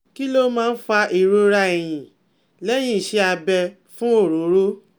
Kí ló máa ń fa ìrora ẹ́yìn lehin iṣẹ́ abẹ fún ọrooro?